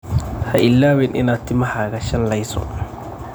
Ha ilaawin inaad timahaaga shanlayso.